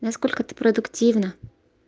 насколько ты продуктивна